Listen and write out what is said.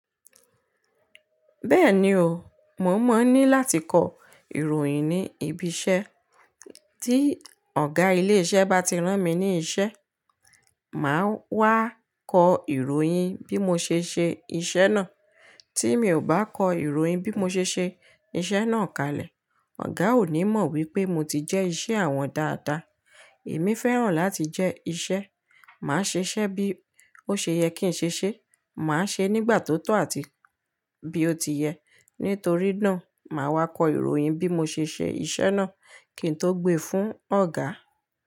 Bẹ́ẹ̀ni o, mo mọ̀ ní láti kọ ìròyìn ní ibi iṣẹ́. Tí ọ̀gá ilé iṣẹ́ bá ti rán mi ní iṣẹ́, màá wá kọ ìròyìn bí mo ṣe ṣe iṣẹ́ náà. Tí mi ò bá kọ ìròyìn bí mo ṣe ṣe iṣẹ́ náà kalẹ̀, ọ̀gá ò ní mọ̀ wípé mo ti jẹ́ iṣẹ́ àwọn dáadáa. Èmi fẹ́ràn láti jẹ́ iṣẹ́, màá ṣe iṣẹ́ bí ó ṣe yẹ kí n ṣe ṣe, màá ṣe nígbà tó tọ́ àti bí ó ti yẹ. Nítorí náà, màá wá kọ ìròyìn bí mo ṣe ṣe iṣẹ́ náà kí n tó gbe fún ọ̀gá.